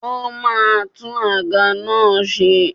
Ó ma tún àga náà ṣe.